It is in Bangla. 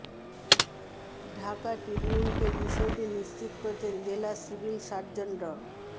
ঢাকা ট্রিবিউনকে বিষয়টি নিশ্চিত করেছেন জেলা সিভিল সার্জন ড